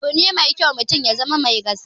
Abune mai kyau mutum ya zama mai gaskiya